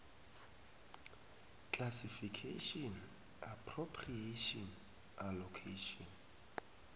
classification appropriation allocation